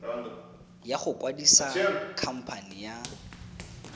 ya go kwadisa khamphane ya